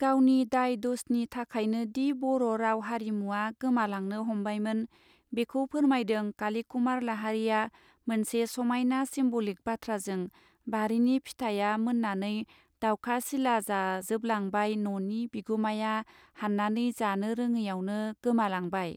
गावनि दाय दसनि थाखायनोदि बर राव हारिमुवा गोमालांनो हमबायमोन बेखौ फोरमायदों कालीकुमार लाहारीआ मोनसे समायना सिम्ब लिक बाथ्राजों बारिनि फिथाइया मन्नानै दावखा सिला जाजोबलांबाय न नि बिगुमाया हाननानै जानो रौडैयावनो गोमालांबाय.